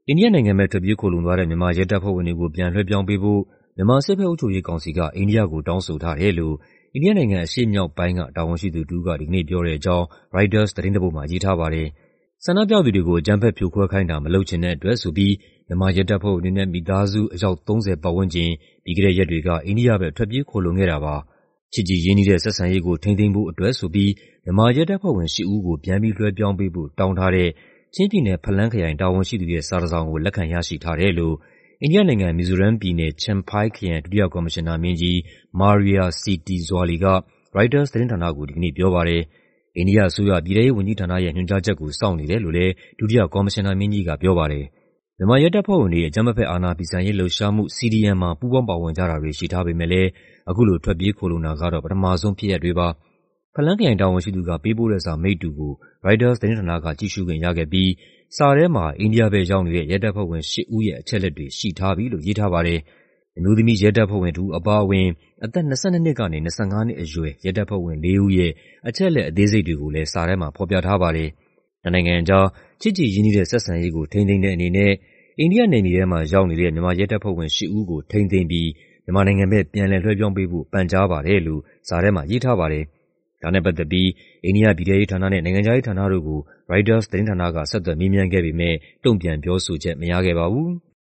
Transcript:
အိန္ဒိယနိုင်ငံဘက် ထွက်ပြေးခိုလှုံသွားတဲ့ မြန်မာရဲတပ်ဖွဲ့ဝင်တွေကို ပြန်လွှဲပြောင်းပေးဖို့ မြန်မာ စစ်ဘက်အုပ်ချုပ်ရေးကောင်စီက အိန္ဒိယကို တောင်းဆိုထားတယ်လို့ အိန္ဒိယနိုင်ငံ အရှေ့မြောက်ပိုင်းက တာဝန်ရှိသူတစ်ဦးကို ဒီကနေ့ပြောတဲ့အကြောင်း ရိုက်တာသတင်းတစ်ပုဒ်မှာ ရေးထားပါတယ်။ ဆန္ဒပြသူတွေကို အကြမ်းဖက်ဖြိုခွဲခိုင်းတာ မလုပ်ချင်တဲ့အတွက် မြန်မာရဲတပ်ဖွဲ့ဝင်တွေနဲ့ မိသားစု အယောက် ၃၀ ဝန်းကျင် ပြီးခဲ့တဲ့ရက်တွေက အိန္ဒိယဘက် ထွက်ပြေးခိုလှုံခဲ့တာပါ။ "ချစ်ကြည်ရင်းနှီးတဲ့ ဆက်ဆံရေးကို ထိန်းသိမ်းဖို့အတွက်" မြန်မာရဲတပ်ဖွဲ့ဝင် ၈ ဦးကို ပြန်ပြီးလွှဲ ပြောင်း ပေးဖို့ တောင်းထားတဲ့ ချင်းပြည်နယ်၊ ဖလမ်းခရိုင်တာဝန်ရှိသူရဲ့ စာတစ်စောင်ကို လက်ခံရရှိထား တယ် လို့ အိန္ဒိယနိုင်ငံ၊ မီဇိုရမ်ပြည်နယ်၊ Champhai ခရိုင် ဒုတိယကော်မရှင်နာမင်းကြီး Maria C. T. Zuali က ရိုက်တာသတင်းဌာနကို ဒီကနေ့ပြောပါတယ်။ အိန္ဒိယအစိုးရ၊ ပြည်ထဲရေးဝန်ကြီးဌာနရဲ့"ညွှန်ကြားချက်ကို စောင့်နေတယ်" လို့လည်း ဒုတိယကော်မရှင်နာမင်းကြီးက ပြောပါတယ်။ မြန်မာရဲတပ်ဖွဲ့ဝင်တွေ အကြမ်းမဖက် အာဏာဖီဆန်ရေးလှုပ်ရှားမှု (CDM) မှာ ပူးပေါင်းပါဝင်ကြတာတွေ ရှိထားပေမယ့်လည်း အခုလို ထွက်ပြေးခိုလှုံတာကတော့ ပထမဆုံးဖြစ်ရပ်တွေပါ။ ဖလမ်းခရိုင်တာဝန်ရှိသူက ပေးပို့တဲ့စာ မိတ္တူကို ရိုက်တာသတင်းဌာနက ကြည့်ခွင့်ရခဲ့ပြီး စာထဲမှာ အိန္ဒိယဘက်ရောက်နေတဲ့ ရဲတပ်ဖွဲ့ဝင် ၈ ဦးရဲ့ အချက်အလက်တွေ ရှိထားပြီလို့ ရေးထားပါတယ်။ အမျိုးသမီး ရဲတပ်ဖွဲ့ဝင်တစ်ဦးအပါအဝင် အသက် ၂၂ နှစ်ကနေ ၂၅ နှစ်အရွယ် ရဲတပ်ဖွဲ့ဝင်လေးဦးရဲ့ အသေးစိတ် အချက်အလက်တွေကိုလည်း စာထဲမှာဖော်ပြထားပါတယ်။ "နှစ်နိုင်ငံကြား ချစ်ကြည်ရင်းနှီးတဲ့ဆက်ဆံရေးကို ထိန်းသိမ်းတဲ့အနေနဲ့ အိန္ဒိယနယ်မြေထဲမှာရောက်နေတဲ့ မြန်မာရဲတပ်ဖွဲ့ဝင် ၈ ဦးကို ထိန်းသိမ်းပြီး မြန်မာနိုင်ငံဘက် ပြန်လည်လွှဲပြောင်းပေးဖို့ ပန်ကြားပါတယ်" လို့ စာထဲမှာရေးထားပါတယ်။ ဒါနဲ့ပတ်သက်ပြီး အိန္ဒိယ ပြည်ထဲရေးဌာနနဲ့ နိုင်ငံခြားရေးဌာနတို့ကို ရိုက်တာသတင်းဌာနက ဆက်သွယ်မေးမြန်းခဲ့ပေမယ့် တုံ့ပြန်ပြောဆိုချက် မရခဲ့ပါဘူး။